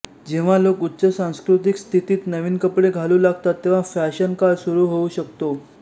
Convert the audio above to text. जेव्हा लोक उच्च सांस्कृतिक स्थितीत नवीन कपडे घालू लागतात तेव्हा फॅशन काळ सुरू होऊ शकतो